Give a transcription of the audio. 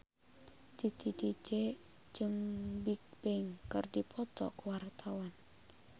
Titi DJ jeung Bigbang keur dipoto ku wartawan